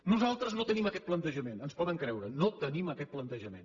nosaltres no tenim aquest plantejament ens poden creure no tenim aquest plantejament